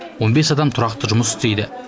он бес адам тұрақты жұмыс істейді